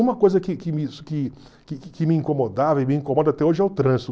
Uma coisa que que me que que que me incomodava e me incomoda até hoje é o trânsito.